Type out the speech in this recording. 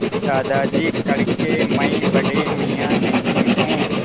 दादाजी कड़के मैं बड़े मियाँ नहीं हूँ